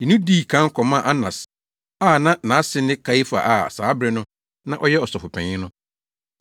de no dii kan kɔmaa Anas a na nʼase ne Kaiafa a saa bere no na ɔyɛ Ɔsɔfopanyin no.